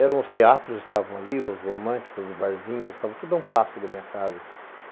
Eram os teatros que estavam ali, os românticos, os barzinhos, estava tudo a um passo da minha casa.